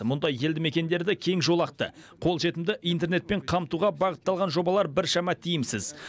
мұндай елді мекендерді кең жолақты қолжетімді интернетпен қамтуға бағытталған жобалар біршама тиімсіз